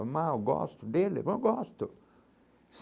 Amar o gosto dele é bom, gosto.